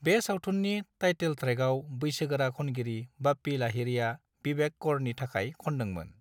बे सावथुननि टाइटोल ट्रैकआव बैसोगोरा खनगिरि बाप्पी लाहिरीआ विवेक करनि थाखाय खन्दोंमोन।